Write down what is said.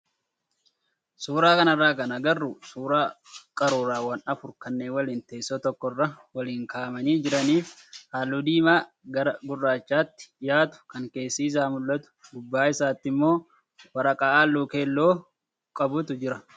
Suuraa kanarraa kan agarru suuraa qaruuraawwan afur kanneen waliin teessoo tokkorra waliin kaa'amanii jiranii fi halluu diimaa gara gurraachaatti dhiyaatu kan keessi isaa mul'atu gubbaa isaatti immo waraqaa halluu keelloo qabutu jira.